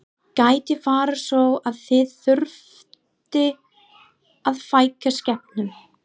Gæti farið svo að þið þyrftuð að fækka skepnum?